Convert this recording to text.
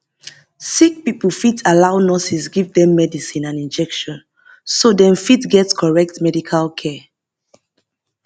sick pipo fit allow nurses give dem medicine and injection so dem fit get correct medical care